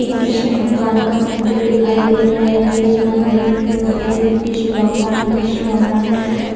एक कृष्ण भगवान का मंदिर दिखाई दे रहा है जिस मंदिर में मुरली कृष्ण भगवान है कृष्ण भगवान